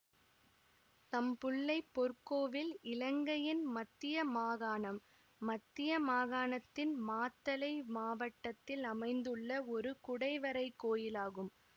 தம்புள்ளை பொற்கோவில் இலங்கையின் மத்திய மாகாணம் மத்திய மாகாணத்தின் மாத்தளை மாவட்டத்தில் அமைந்துள்ள ஒரு குடைவரை கோயில் ஆகும்